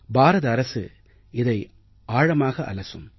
பாரத அரசு இதை ஆழமாக அலசும்